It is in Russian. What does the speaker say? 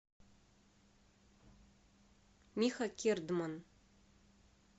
миха кердман